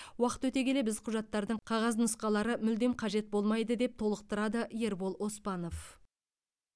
уақыт өте келе біз құжаттардың қағаз нұсқалары мүлдем қажет болмайды деп толықтырады ербол оспанов